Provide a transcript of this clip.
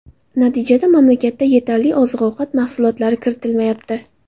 Natijada mamlakatda yetarli oziq-ovqat mahsulotlari kiritilmayapti.